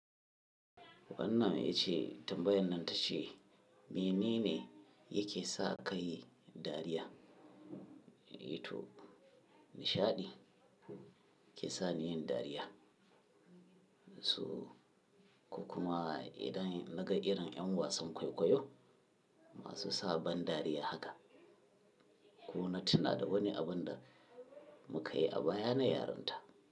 Wannan yace tambayan nan ta ce mene ne yake sa ka yi dariya? Eh to nishaɗi ke sa ni yin dariya. So ku kuma idan na ga irin yan wasan kwaikwayo masu sa ban dariya haka, ko na tuna da wani abin da muka yi a baya na yarinta.